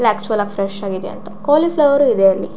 Fresh ಆಗಿದೆ cauliflower ಇದೆ ಅಲ್ಲಿ.